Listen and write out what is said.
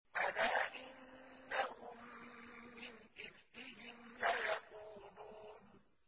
أَلَا إِنَّهُم مِّنْ إِفْكِهِمْ لَيَقُولُونَ